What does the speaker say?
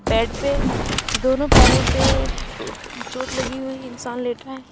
Bed पे दोनों पैरों पे अह चोट लगी हुई इंसान लेटा है।